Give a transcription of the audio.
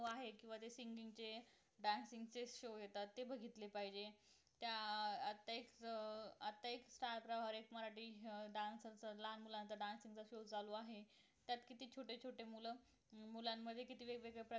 आहेत बरेच singing चे dance असे show येतात ते बघितले पाहिजे त्या अं आत्ता एक अं star प्रवाह मराठीत dance लहान मुलांचा dance show चालू आहे त्यात किती छोटे छोटे मुलं मुलांमध्ये किती तरी